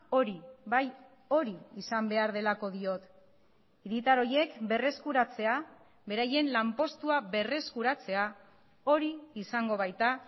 hori bai hori izan behar delako diot hiritar horiek berreskuratzea beraien lanpostua berreskuratzea hori izango baita